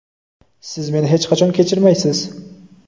siz meni hech qachon kechirmaysiz.